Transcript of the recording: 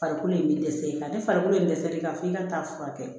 Farikolo ye dɛsɛ nka ni farikolo in dɛsɛlen kan f'i ka taa furakɛ kɛ